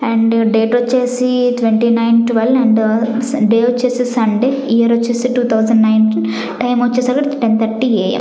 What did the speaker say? and date వచ్చేసి twenty nine twelve and day వచ్చేసి Sunday year వచ్చేసి టూ తౌజండ్ నైంటీన్ టైమ్ వచ్చేసి ten thirty a m --